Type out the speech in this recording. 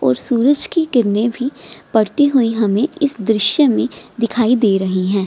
और सूरज की किरणे भी पड़ती हुई हमे इस दृश्य में दिखाई दे रही हैं।